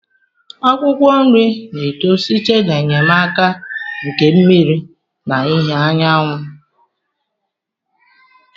Akwụkwọ nri na-eto site n'enyemaka nke mmiri na ìhè anyanwụ